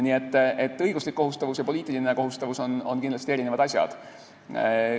Nii et õiguslik kohustavus ja poliitiline kohustavus on kindlasti eri asjad.